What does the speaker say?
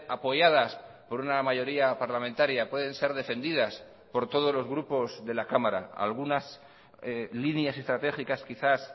apoyadas por una mayoría parlamentaria pueden ser defendidas por todos los grupos de la cámara algunas líneas estratégicas quizás